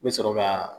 N bɛ sɔrɔ ka